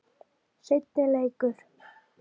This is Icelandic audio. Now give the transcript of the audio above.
Seinni leikur